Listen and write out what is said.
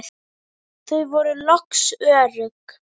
Þau voru loks örugg.